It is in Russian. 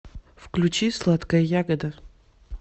включи сладка ягода